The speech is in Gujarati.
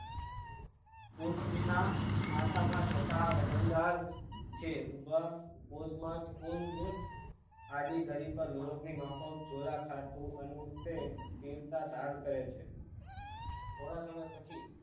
કુંજ ના માથા માં જતાં વજનદાર છે રુદ્રા કુંજ માં જ કોઈ ને આડી ધરી પર નીરોગી માત્ર જ જોવા ખાતર છે તે રીત ના ધ્યાન કરે છે થોડા સમય પછી